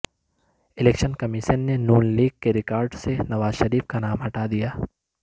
election commission نے ن league کے ریکارڈ سے نوازشریف کا نام ہٹادیا